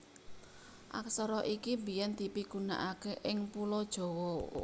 Aksara iki biyèn dipigunakaké ing Pulo Jawa